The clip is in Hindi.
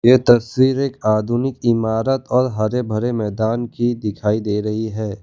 ये तस्वीर एक आधुनिक इमारत और हरे भरे मैदान की दिखाई दे रही है।